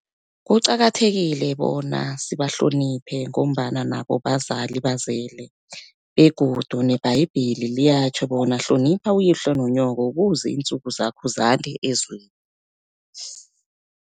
Kuqakathekile bona sibahloniphe, ngombana nabo bazali bazele begodu nebhayibheli liyatjho bona, hlonipha uyihlo nonyoko kuze intsuku zakho zande ezweni.